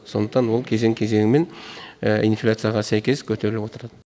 сондықтан ол кезең кезеңімен инфляцияға сәйкес көтеріліп отырады